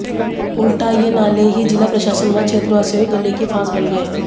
उल्टा ये नाले ही जिला प्रशासन व क्षेत्रवासियों के गले की फांस बन गए